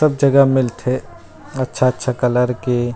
सब जगह मिलथे अच्छा-अच्छा कलर के--